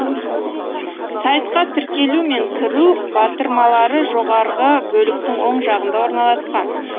сайтқа тіркелу мен кіру батырмалары жоғарғы бөліктің оң жағында орналасқан